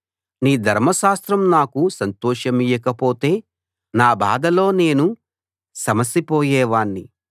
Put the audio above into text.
నీ ధర్మశాస్త్రం నాకు సంతోషమియ్యక పొతే నా బాధలో నేను సమసిపోయేవాణ్ణి